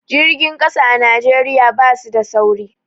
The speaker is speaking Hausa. Jirgin ƙasa a Najeriya basu da sauri